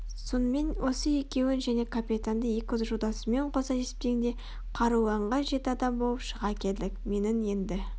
сонымен осы екеуін және капитанды екі жолдасымен қоса есептегенде қаруланған жеті адам болып шыға келдік менің енді